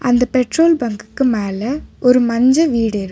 அந்த பெட்ரோல் பங்குக்கு மேல ஒரு மஞ்ச வீடிருக்.